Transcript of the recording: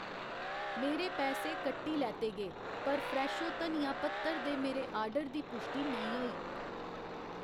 मेरे पैसे कट्टी लैते गे, पर फ्रैशो धनिया पत्तर दे मेरे आर्डर दी पुश्टि नेईं होई